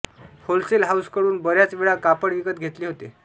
wholesale हाऊसकडून बऱ्याच वेळा कापड विकत घेतले होते